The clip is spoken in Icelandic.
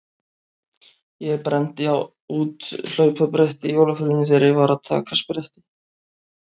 Ég brenndi út hlaupabretti í jólafríinu þegar ég var að taka spretti.